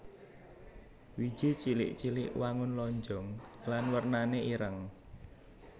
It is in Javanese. Wiji cilik cilik wangun lonjong lan wernané ireng